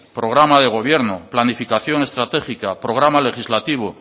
programa de gobierno planificación estratégica programa legislativo